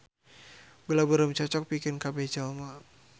Gula beureum cocok pikeun kabeh jelema